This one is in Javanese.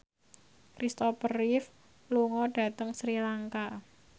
Christopher Reeve lunga dhateng Sri Lanka